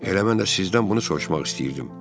Elə mən də sizdən bunu soruşmaq istəyirdim.